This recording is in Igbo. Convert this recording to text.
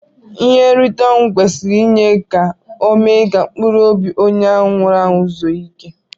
Ihe nrite onwụ kwesiri inye ka ome ka mpụrụ ọbi onye nwuru anwu zuo ike.